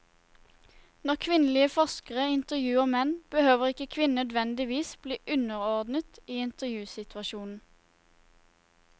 Når kvinnelige forskere intervjuer menn, behøver ikke kvinnen nødvendigvis bli underordnet i intervjusituasjonen.